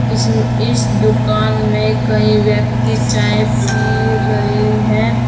इसम इस दुकान में कई व्यक्ति चाय पी रहे हैं।